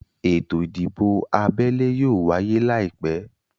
Ètò ìdìbò abẹ́lé yóò wáyé láìpẹ́